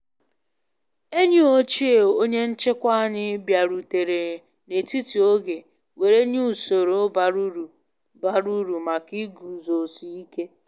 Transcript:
Enyi ochie onye nchịkwa anyị bịarutere na etiti oge were nye usoro bara uru bara uru maka ịguzosị ike